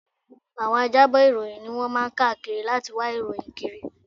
Àwọn ajábọ̀ ìròyìn ni wọ́n máa ń káàkiri láti wá ìròyìn kiri